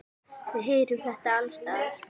Við heyrum þetta alls staðar.